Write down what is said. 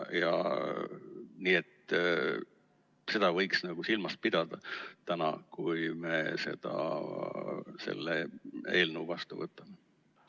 Nii et seda võiks silmas pidada täna, kui me selle eelnõu vastu võtame.